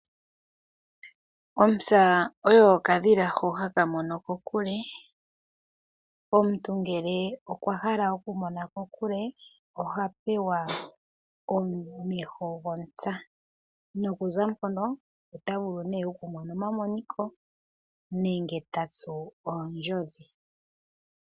Ontsa oyo okadhila hono haka mono kokule. Omuntu ngele okwa hala okumona kokule oha pewa omeho gontsa nokuza mpono ota vulu nee okumona omamoniko nenge ta tsu oondjodhi.